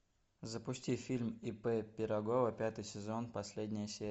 запусти фильм ип пирогова пятый сезон последняя серия